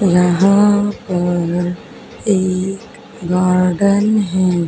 यहां पर एक गार्डन है।